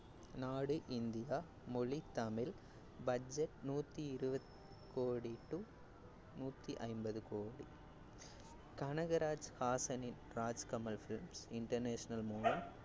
நாடு இந்தியா, மொழி தமிழ், budget நூத்தி இருவது கோடி to நூத்தி ஐம்பது கோடி கனகராஜ் ஹாசனின் ராஜ் கமல் films international மூலம்